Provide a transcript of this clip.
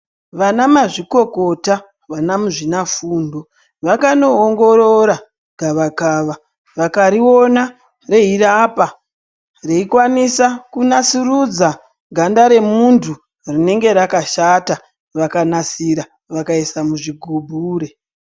Vana mazvikokota vana muzvina fundo vakano ongorora gava kava vakari ona rei rapa rei kwanisa ku nasurudza ganda re muntu rinenge raka shata vaka nasira vakaisa muzvi gubhure.